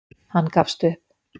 Hann gafst upp.